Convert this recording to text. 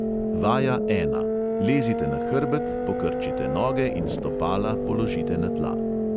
Vaja ena: lezite na hrbet, pokrčite noge in stopala položite na tla.